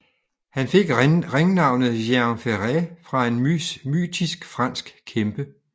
Han fik ringnavnet Géant Ferré fra en mytisk fransk kæmpe